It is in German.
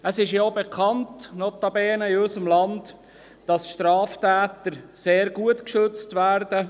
Es ist in unserem Land auch bekannt, dass Straftäter sehr gut geschützt werden.